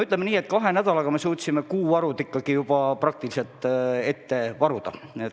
Ütleme nii, et kahe nädalaga me suutsime kuu varud juba praktiliselt ette varuda.